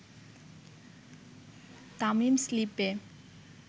তামিম স্লিপে